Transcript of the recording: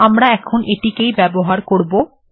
আমরা এখন এটিকেই ব্যবহার করব